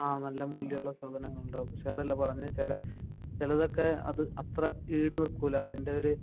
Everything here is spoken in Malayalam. ആഹ് നല്ല മൂല്യമുള്ള സാധനങ്ങൾ ഉണ്ടാവും പക്ഷെ പറഞ്ഞത് ചിലതൊക്കെ അത്ര ഈടു നിൽക്കൂല